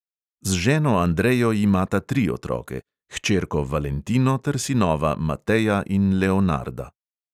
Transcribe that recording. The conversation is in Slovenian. Z ženo andrejo imata tri otroke – hčerko valentino ter sinova mateja in leonarda.